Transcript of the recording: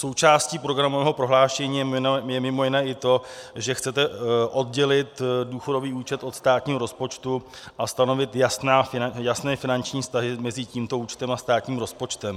Součástí programového prohlášení je mimo jiné i to, že chcete oddělit důchodový účet od státního rozpočtu a stanovit jasné finanční vztahy mezi tímto účtem a státním rozpočtem.